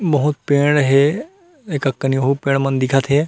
बहुत पेड़ हे एकक कनी एहु पेड़ मन दिखत हे।